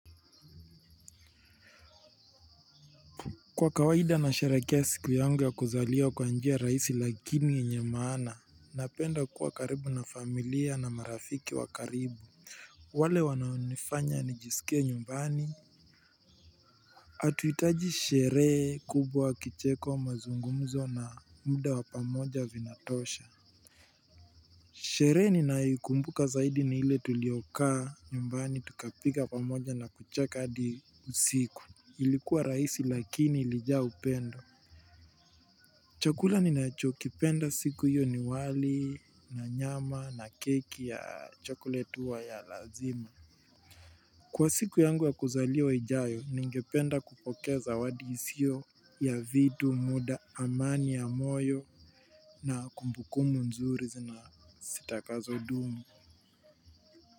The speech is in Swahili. Kwa kawaida nasherekea siku yangu ya kuzaliwa kwa njia raisi lakini yenye maana napenda kuwa karibu na familia na marafiki wakaribu. Wale wananifanya nijiskie nyumbani hatuitaji sherehe kubwa wa kicheko mazungumzo na mda wa pamoja vinatosha. Sheree ninaikumbuka zaidi ni ile tulioka nyumbani tukapika pamoja na kucheka hadi usiku. Ilikuwa raisi lakini ilijaa upendo. Chakula ninachokipenda siku hiyo ni wali na nyama na keki ya chakula tu wa ya lazima. Kwa siku yangu ya kuzaliwa ijayo ningependa kupokea zawadi isio ya vitu muda amani ya moyo na kumbukumu nzuri zina zitakazo dumu.